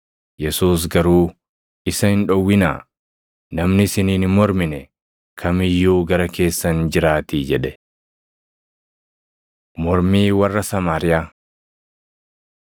Yesuus garuu, “Isa hin dhowwinaa; namni isiniin hin mormine kam iyyuu gara keessan jiraatii” jedhe. Mormii Warra Samaariyaa